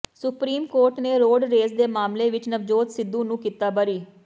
supreme court ਨੇ road rage ਦੇ ਮਾਮਲੇ ਵਿਚ ਨਵਜੋਤ ਸਿੱਧੂ ਨੂੰ ਕੀਤਾ ਬਰੀ